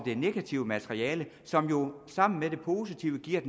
negative materiale som jo sammen med det positive giver